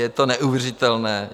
Je to neuvěřitelné.